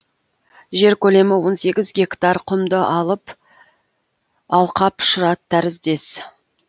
жер көлемі он сегіз гектар құмды алқап шұрат тәріздес